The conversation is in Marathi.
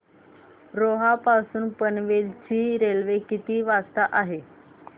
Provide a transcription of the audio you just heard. रोहा पासून पनवेल ची रेल्वे किती वाजता आहे